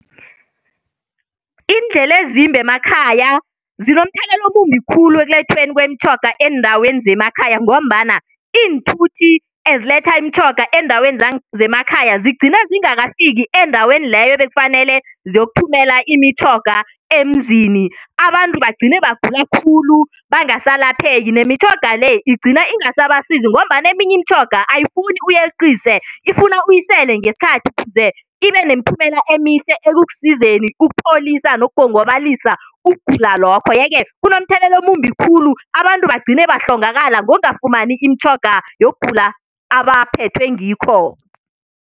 Iindlela ezimbi emakhaya zinomthelela omumbi khulu ekulethweni kwemitjhoga eendaweni zemakhaya ngombana iinthuthi eziletha imitjhoga eendaweni zemakhaya zigcina zingakafiki endaweni leyo ebekufanele ziyokuthumela imitjhoga emzini abantu bagcine bagula khulu bangasalapheki nemitjhoga le igcine ingasabasizi ngombana eminye imitjhoga ayifuni uyeqise ifuna uyisele ngesikhathi thize ibe nemiphumela emihle ekukusizeni ukupholisa nokugongabalisa ukugula lokho. Yeke kunomthelela omumbi khulu abantu bagcine bahlongakala ngokungafumani imitjhoga yokugula abaphethwe ngikho.